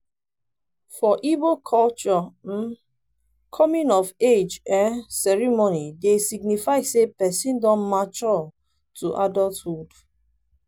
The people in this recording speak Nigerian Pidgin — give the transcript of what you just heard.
for igbo culture um coming of age um ceremony dey signify sey person don mature to adulthood